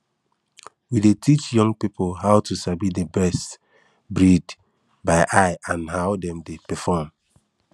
we dey teach young people how to sabi the best breed by eye and how dem dey perform